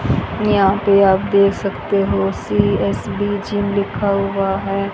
यहां पे आप देख सकते हो सी_एस_बी_जी लिखा हुआ है।